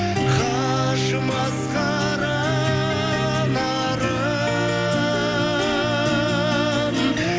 қажымас қара нарым